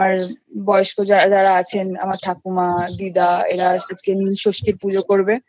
বয়স্ক যারা যারা আছে আমার ঠাকুমা দিদা ওরা আজকে নীল ষষ্ঠী পুজো করবে